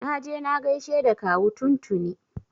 Na je na gaishe da kawu tun tuni.